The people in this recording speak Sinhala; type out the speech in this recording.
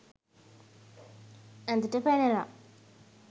ඇඳට පැනලා